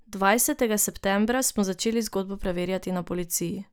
Dvajsetega septembra smo začeli zgodbo preverjati na policiji.